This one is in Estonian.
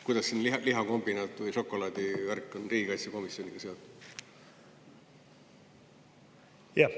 Kuidas lihakombinaat või šokolaadi värk on riigikaitsekomisjoniga seotud?